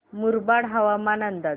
मुरबाड हवामान अंदाज